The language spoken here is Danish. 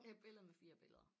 Et billede med 4 billeder